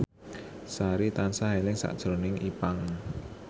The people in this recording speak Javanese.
Sari tansah eling sakjroning Ipank